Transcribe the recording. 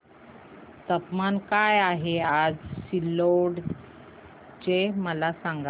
तापमान काय आहे आज सिल्लोड चे मला सांगा